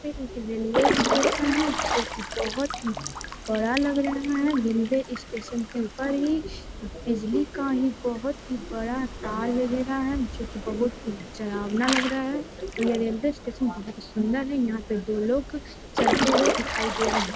एक railway station है जो कि बोहोत ही बड़ा लग रहा है। रेलवे स्टेशन के ऊपर ही एक बिजली का ही बोहोत ही बड़ा तार वगैरह है जो कि बोहोत ही डरावना लग रहा है। यह रेलवे स्टेशन बोहोत ही सुंदर यहां पे दो लोग चलते हुए दिखाई दे रहे --